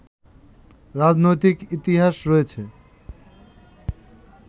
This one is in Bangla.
রাজনৈতিক ইতিহাস রয়েছে